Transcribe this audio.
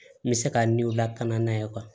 N bɛ se ka ni o lakana ye